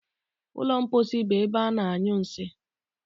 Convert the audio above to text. Ụlọ mposi bụ ebe ana- anyụ nsị.